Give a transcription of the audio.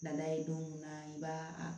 Na ye don mun na i b'a